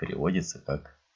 переводится как